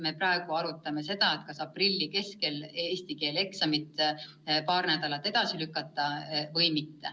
Me praegu arutame vaid seda, kas aprilli keskel toimuma pidav eesti keele eksam paar nädalat edasi lükata või mitte.